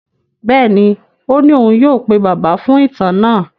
Bẹ́ẹ̀ni, ó ní òun yóò pe Bàbá fún ìtàn náà.